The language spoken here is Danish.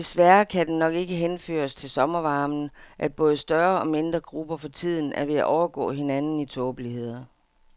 Desværre kan det nok ikke henføres til sommervarmen, at både større og mindre grupper for tiden er ved at overgå hinanden i tåbeligheder.